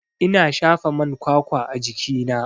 Ina shafa man kwakwa a jikina.